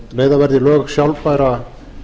leiða verði í lög sjálfbæra